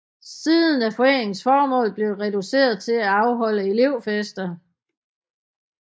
Siden er foreningens formål blevet reduceret til at afholde elevfester